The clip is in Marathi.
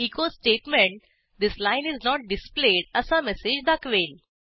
echo statement this line is not displayed असा मेसेज दाखवेल